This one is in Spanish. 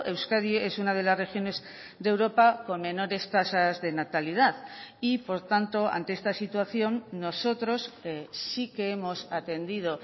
euskadi es una de las regiones de europa con menores tasas de natalidad y por tanto ante esta situación nosotros sí que hemos atendido